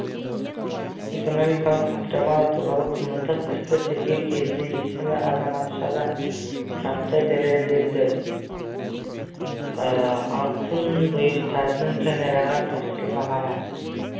экономикалық контрабанда туралы қылмыстық істі тергеу кезінде есімді азаматшадан заттай дәлелдердің алтын бұйымдардың камераға тапсырылмағаны